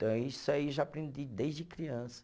Então, isso aí eu já aprendi desde criança.